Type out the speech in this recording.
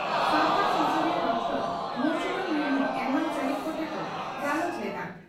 ᱥᱟᱣᱛᱟ ᱥᱩᱥᱟᱹᱨᱤᱭᱟᱹ ᱰᱨᱹ ᱢᱚᱣᱥᱩᱢᱤ ᱢᱩᱨᱢᱩ ᱮᱢᱢᱟᱱ ᱥᱮᱞᱮᱫ ᱠᱚᱛᱮ ᱠᱚ ᱜᱟᱞᱚᱪ ᱞᱮᱫᱼᱟ ᱾